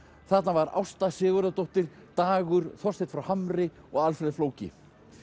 þarna var Ásta Sigurðardóttir Dagur Þorsteinn frá Hamri og Alfreð flóki